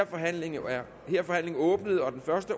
forhandlingen er åbnet og den første